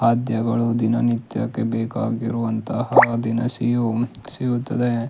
ಖಾದ್ಯಗಳು ದಿನ ನಿತ್ಯಕ್ಕೆ ಬೇಕಾಗಿರುವಂತಹ ದಿನಸಿಯು ಸಿಗುತ್ತದೆ.